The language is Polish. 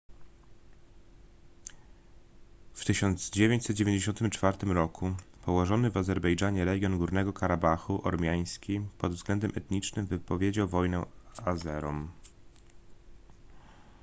w 1994 roku położony w azerbejdżanie region górnego karabachu ormiański pod względem etnicznym wypowiedział wojnę azerom